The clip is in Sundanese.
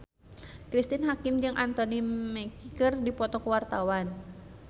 Cristine Hakim jeung Anthony Mackie keur dipoto ku wartawan